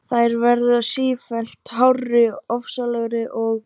Sigurðar Guðmundssonar hve merkingarmunur þessara tveggja hugtaka getur verið gagnger.